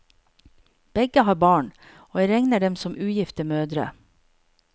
Begge har barn, og jeg regner dem som ugifte mødre.